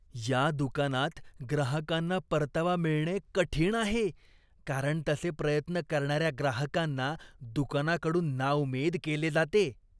या दुकानात ग्राहकांना परतावा मिळणे कठीण आहे, कारण तसे प्रयत्न करणाऱ्या ग्राहकांना दुकानाकडून नाउमेद केले जाते.